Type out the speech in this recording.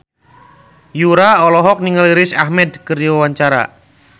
Yura olohok ningali Riz Ahmed keur diwawancara